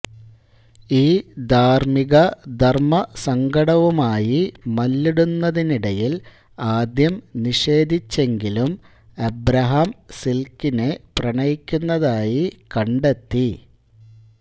ഈ ധാർമ്മിക ധർമ്മസങ്കടവുമായി മല്ലിടുന്നതിനിടയിൽ ആദ്യം നിഷേധിച്ചെങ്കിലും അബ്രഹാം സിൽക്കിനെ പ്രണയിക്കുന്നതായി കണ്ടെത്തി